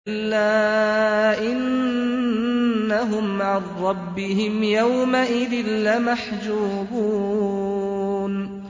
كَلَّا إِنَّهُمْ عَن رَّبِّهِمْ يَوْمَئِذٍ لَّمَحْجُوبُونَ